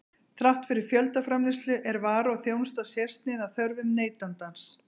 Þrátt fyrir fjöldaframleiðslu er vara og þjónusta sérsniðin að þörfum neytandans.